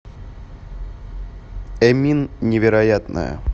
эмин невероятная